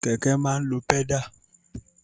Kẹ̀kẹ́ máa lo pẹ́dà.